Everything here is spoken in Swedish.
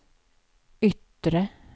yttre